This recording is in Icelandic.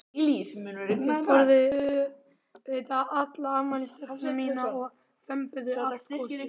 Þau borðuðu auðvitað alla afmælistertuna mína og þömbuðu allt gosið.